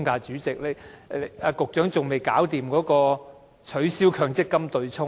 主席，局長至今仍然未能取消強積金對沖安排。